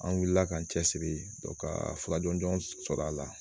An wulila k'an cɛ siri ka fura jɔnjɔn sɔrɔ a la